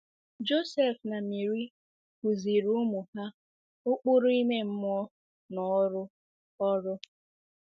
Josef na Meri kụziiri ụmụ ha ụkpụrụ ime mmụọ na ọrụ ọrụ.